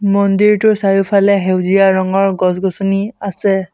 মন্দিৰটোৰ চাৰিওফালে সেউজীয়া ৰঙৰ গছ-গছনি আছে।